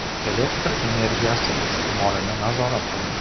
Elektr energiyasi iste’molini nazorat qiling.